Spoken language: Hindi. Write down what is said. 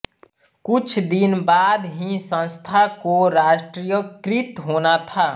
कुछ दिन बाद ही संस्था कोराष्ट्रीयकृत होना था